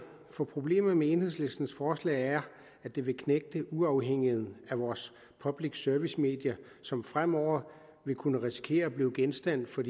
for problemet med enhedslistens forslag er at det vil knægte uafhængigheden af vores public service medier som fremover vil kunne risikere at blive genstand for